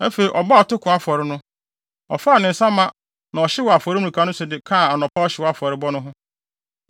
Afei, ɔbɔɔ atoko afɔre no, ɔfaa ne nsa mma na ɔhyew wɔ afɔremuka no so de kaa anɔpa ɔhyew afɔrebɔ no ho.